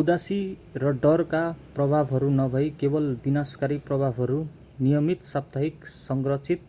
उदासी र डरका प्रभावहरू नभई केवल विनाशकारी प्रभावहरू नियमित साप्ताहिक संरचित